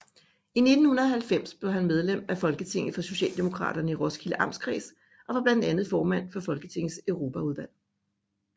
I 1990 blev han medlem af Folketinget for Socialdemokraterne i Roskilde Amtskreds og var blandt andet formand for Folketingets Europaudvalg